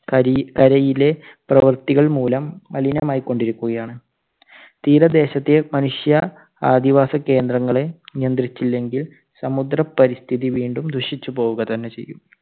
കരയി~കരയിലെ പ്രവൃത്തികൾ മൂലം മലിനമായികൊണ്ടിരിക്കുകയാണ്. തീരദേശത്തെ മനുഷ്യ ആദിവാസ കേന്ദ്രങ്ങളെ നിയന്ത്രിച്ചില്ലെങ്കിൽ സമുദ്ര പരിസ്ഥിതി വീണ്ടും ദുഷിച്ചുപോവുക തന്നെ ചെയ്യും.